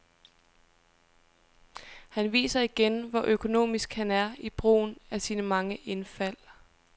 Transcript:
Han viser igen, hvor økonomisk han er i brugen af sine mange indfald.